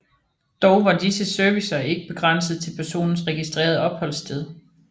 Dog var disse servicer ikke begrænset til personens registrerede opholdssted